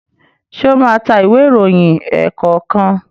ṣe o má ta Ìwé ìròyìn ẹ̀ẹ̀kọ̀kan?